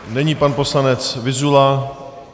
Nyní pan poslanec Vyzula.